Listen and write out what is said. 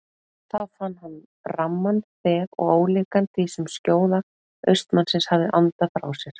Þá fann hann ramman þef og ólíkan því sem skjóða austanmannsins hafði andað frá sér.